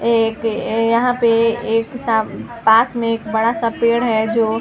एक यहाँ पे एक साथ पास में एक बड़ा- सा पेड़ है जो --